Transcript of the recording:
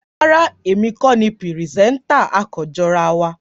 Rárá, èmi kò ní pírìsẹtà, a kan jọ ra wá